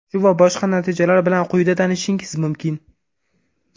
Shu va boshqa natijalar bilan quyida tanishishingiz mumkin.